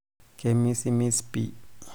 kemisimis pii